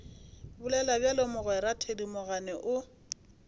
bolela bjalo mogwera thedimogane o